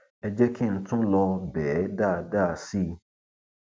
ẹ jẹ kí n tún lọọ bẹ ẹ dáadáa sí i